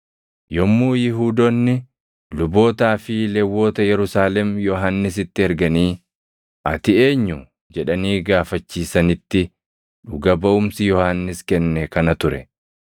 Yommuu Yihuudoonni lubootaa fi Lewwota Yerusaalem Yohannisitti erganii, “Ati eenyu?” jedhanii gaafachiisanitti dhuga baʼumsi Yohannis kenne kana ture.